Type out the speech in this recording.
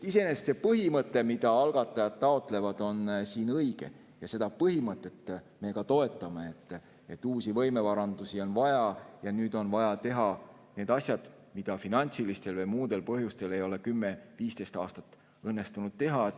Iseenesest see põhimõte, mida algatajad taotlevad, on siin õige ja seda põhimõtet me toetame, et uusi võimearendusi on vaja ja nüüd on vaja teha need asjad, mida finantsilistel või muudel põhjustel ei ole kümme-viisteist aastat õnnestunud teha.